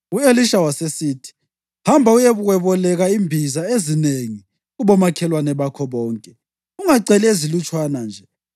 U-Elisha wasesithi, “Hamba uyekweboleka imbiza ezinengi kubomakhelwane bakho bonke. Ungaceli ezilutshwane nje.